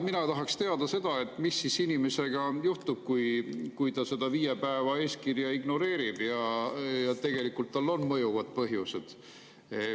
Mina tahaksin teada, mis siis inimesega juhtub, kui ta seda viie päeva eeskirja ignoreerib ja tegelikult tal on mõjuvad põhjused.